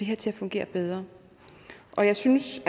her til at fungere bedre og jeg synes